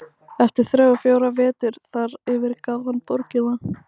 Eftir þrjá eða fjóra vetur þar yfirgaf hann borgina.